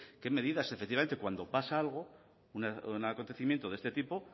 qué medidas efectivamente cuando pasa algo un acontecimiento de este tipo